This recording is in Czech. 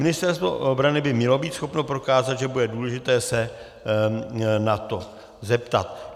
Ministerstvo obrany by mělo být schopno prokázat, že bude důležité se na to zeptat.